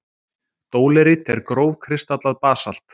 Dólerít er grófkristallað basalt.